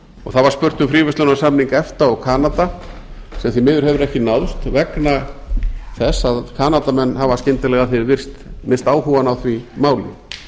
og það var spurt um fríverslunarsamning efta og kanada sem því miður hefur ekki náðst vegna þess að kanadamenn hafa skyndilega að því er virðist misst áhugann á því máli